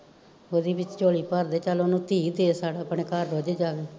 ਓਦੀ ਵੀ ਝੋਲੀ ਭਰਦੇ ਚਲ ਓਨੁ ਇੱਕ ਇੱਕ ਧੀ ਦੇ ਛੱਡ ਆਪਣੇ ਘਰ ਰੁੱਝ ਜਾਵੇ